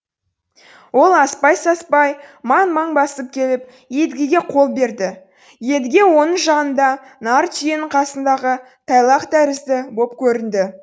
ол аспай саспай маң маң басып келіп едігеге қол берді едіге оның жанында нар түйенің қасындағы тайлақ тәрізді боп көрінді